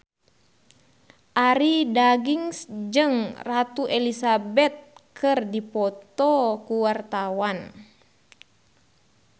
Arie Daginks jeung Ratu Elizabeth keur dipoto ku wartawan